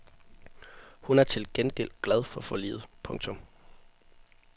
Hun er til gengæld glad for forliget. punktum